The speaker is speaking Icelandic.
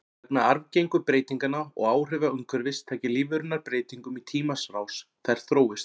Vegna arfgengu breytinganna og áhrifa umhverfis taki lífverurnar breytingum í tímans rás, þær þróist.